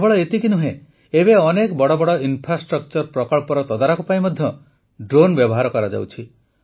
କେବଳ ଏତିକି ନୁହେଁ ଏବେ ଅନେକ ବଡ଼ ବଡ଼ ଇନ୍ଫ୍ରାଷ୍ଟ୍ରକ୍ଚର୍ ପ୍ରକଳ୍ପର ତଦାରଖ ପାଇଁ ମଧ୍ୟ ଡ୍ରୋନ୍ ବ୍ୟବହାର କରାଯାଉଛି